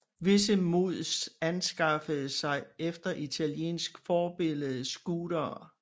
Visse mods anskaffede sig efter italiensk forbillede scootere